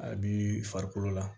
A bi farikolo la